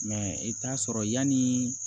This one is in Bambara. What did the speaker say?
Mɛ i bɛ t'a sɔrɔ yani